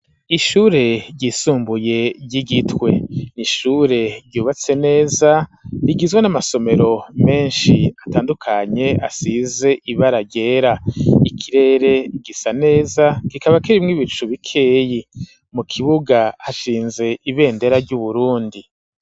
Ishure ryisumbuye ry'igitwe nishure ryubatse neza rigizwe n'amasomero menshi atandukanye asize ibara ryera ikirere gisa neza gikaba kirimw'ibicu bikeyi mu kibuga hashinze ibendera ry'uburundi.